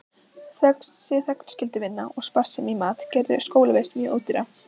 Þessi þegnskylduvinna og sparsemi í mat gerðu skólavist mjög ódýra.